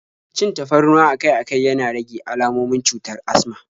Cin tafarnuwa akai-akai yana rage almomin cutar asma